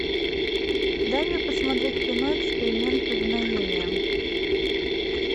дай мне посмотреть кино эксперимент повиновения